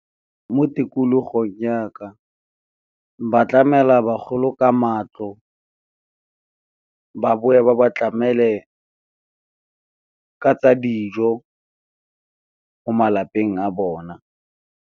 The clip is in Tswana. Mo tikologong ya ka ba tlamela ba golo ka matlo, ba boe ba ba tlamele ka tsa dijo ko malapeng a bona.